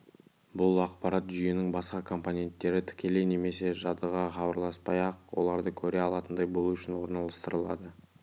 бұл ақпарат жүйенің басқа компоненттері тікелей немесе жадыға хабарласпай-ақ оларды көре алатындай болу үшін орналастырылады